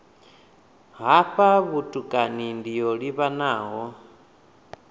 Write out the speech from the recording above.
hafha vhutukani ndi yo livhanaho